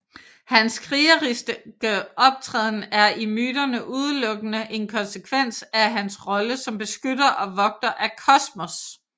Hans krigeriske optræden er i myterne udelukkende en konsekvens af hans rolle som beskytter og vogter af kosmos